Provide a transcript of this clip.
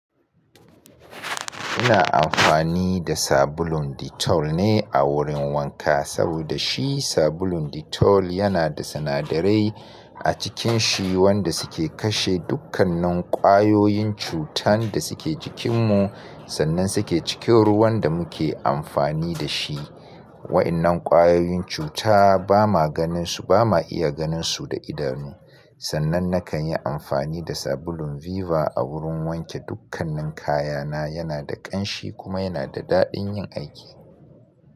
Ina amfani da sabulun Dettol ne a wurin wanka, saboda shi sabulun Dettol yana da sinadarai a cikin shi wanda suke kashe dukkanan kwayoyin cutan da suke jikinmu, sannan suke cikin ruwan da muke amfani da shi. Waɗannan kwayoyin cuta ba ma ganin su, ba ma iya ganin su da idanu. Sannan nakan yi amfani da sabulun Viva a wurin wanke dukkanin kayana, yana da ƙanshi kuma yana da daɗin yin aiki.